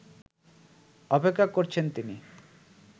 অপেক্ষা করছেন তিনি